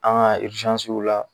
An ka la